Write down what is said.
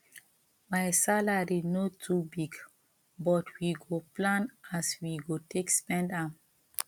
my salary no too big but we go plan as we go take spend am